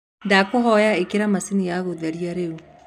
ndagũthaĩtha ĩkĩra machĩnĩ ya gutherĩa riu